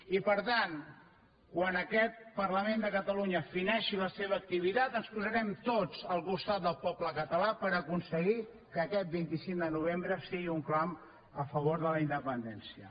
i per tant quan aquest parlament de catalunya fineixi la seva activitat ens posarem tots al costat del poble català per aconseguir que aquest vint cinc de novembre sigui un clam a favor de la independència